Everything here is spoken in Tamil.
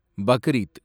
பக்ரீத்